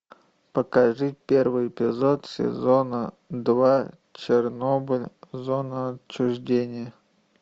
покажи первый эпизод сезона два чернобыль зона отчуждения